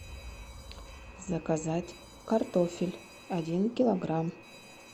заказать картофель один килограмм